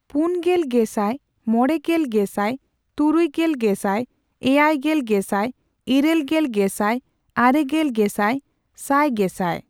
ᱯᱩᱱᱜᱮᱞ ᱜᱮᱥᱟᱭ, ᱢᱚᱲᱮᱜᱮᱞ ᱜᱮᱥᱟᱭ , ᱛᱩᱨᱩᱭ ᱜᱮᱞ ᱜᱮᱥᱟᱭ , ᱮᱭᱟᱭ ᱜᱮᱞ ᱜᱮᱥᱟᱭ , ᱤᱨᱟᱹᱞ ᱜᱮᱞ ᱜᱮᱥᱟᱭ , ᱟᱨᱮᱜᱮᱞ ᱜᱮᱥᱟᱭ , ᱥᱟᱭ ᱜᱮᱥᱟᱭ ᱾